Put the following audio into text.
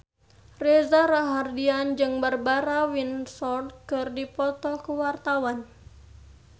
Reza Rahardian jeung Barbara Windsor keur dipoto ku wartawan